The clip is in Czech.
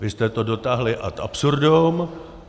Vy jste to dotáhli ad absurdum.